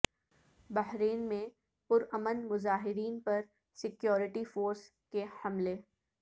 بحرین میں پرامن مظاہرین پر سیکورٹی فورس کے حملے